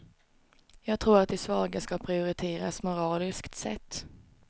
Jag tror att de svaga ska prioriteras moraliskt sett.